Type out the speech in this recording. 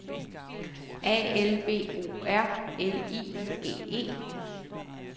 A L V O R L I G E